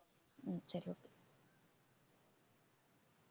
ஹம் சரி okay